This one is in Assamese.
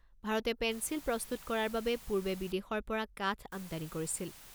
ভাৰতে পেন্সিল প্ৰস্তুত কৰাৰ বাবে পূৰ্বে বিদেশৰ পৰা কাঠ আমদানি কৰিছিল।